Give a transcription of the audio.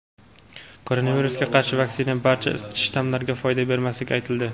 Koronavirusga qarshi vaksina barcha shtammlarga foyda bermasligi aytildi.